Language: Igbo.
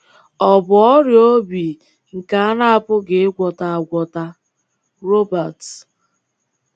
Ọ bụ ọrịa obi nke a na-apụghị ịgwọta agwọta.” — Robert.